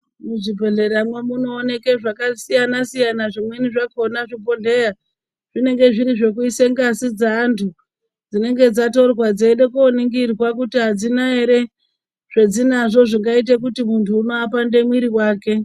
Muzvibhedleramwo munooneka zvakasiyana siyana zvimweni zvakona zvibhodhleya zvinenge zviri zvekuisa ngazi dzeanthu dzinenge dzatorwa dzeide koningirwa kuti adzina ere zvadzinadzo zvinoita kuti munthu apande mwiri wake.